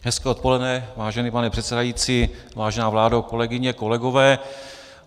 Hezké odpoledne, vážený pane předsedající, vážená vládo, kolegyně, kolegové.